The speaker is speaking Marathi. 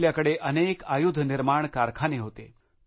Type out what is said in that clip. आपल्याकडे अनेक आयुध निर्माण कारखाने होते